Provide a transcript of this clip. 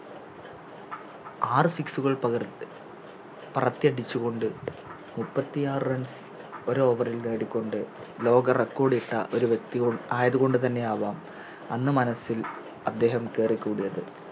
ആറ് Six കൾ പകർ പരറത്തിയടിച്ചുകൊണ്ട് മുപ്പത്തിയാറ് Runs ഒര് Over ഇൽ നേടിക്കൊണ്ട് ലോക Record ഇട്ട ഒരു വ്യക്തി ആയത്കൊണ്ട്തന്നെയാവാം അന്ന് മനസ്സിൽ അദ്ദേഹം കെറിക്കൂടിയത്